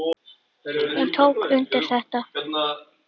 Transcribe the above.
Hún tók undir þetta.